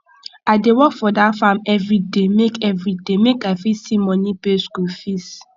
i dey work for dat farm everyday make everyday make i fit see money pay skool fees